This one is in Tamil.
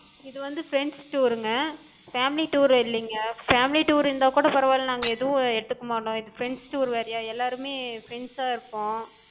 இதுவந்து friends tour ங்க, family tour இல்லிங்க. family tour இருந்தா கூடப் பரவால்ல நாங்க எது எடுத்துக்க மாட்டோ, இது friends tour வேறயா, எல்லாருமே friends ஆஹ் இருப்போ.